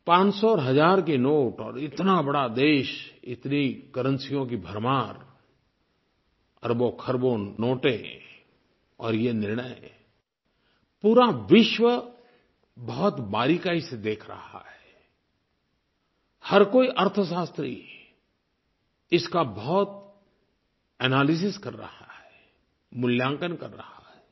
पाँच सौ और हज़ार के नोट और इतना बड़ा देश इतनी करेंसियों की भरमार अरबोंखरबों नोटें और ये निर्णय पूरा विश्व बहुत बारीक़ी से देख रहा है हर कोई अर्थशास्त्री इसका बहुत एनालिसिस कर रहा है मूल्यांकन कर रहा है